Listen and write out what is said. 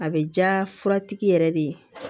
A bɛ ja fura tigi yɛrɛ de ye